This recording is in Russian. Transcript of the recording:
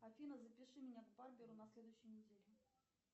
афина запиши меня к барберу на следующей неделе